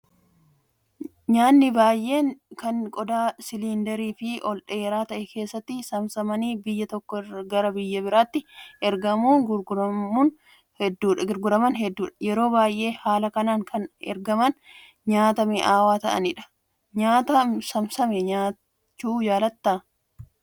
Nyaatni baay'een kan qodaa siliindarii fi ol dheeraa ta'e keessatti saamsamanii biyya tokkoo gara biraatti ergamuun gurguraman hedduudha. Yeroo baay'ee haala kanaan kan ergaman nyaata mi'aawaa ta'anidha. Nyaata saamsame nyaachuu jaallattaa?